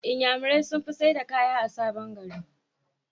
inyamurai sunfi saida kaya a sabon gari